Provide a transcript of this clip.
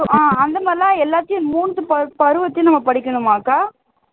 அஹ் அந்த மாதிரி எல்லாம் எல்லாத்தையும் மூன்று பருவத்தையும் நம்ம படிக்கணுமாக்கா